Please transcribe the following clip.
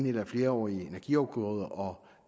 eller flerårige energiafgrøder og